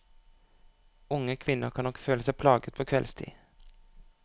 Unge kvinner kan nok føle seg plaget på kveldstid.